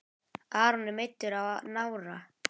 Aron er meiddur á nára.